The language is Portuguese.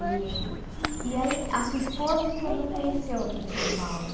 E e aí, a sua esposa o senhor não conheceu aqui em São Paulo?